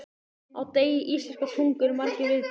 Á degi íslenskrar tungu eru margir viðburðir.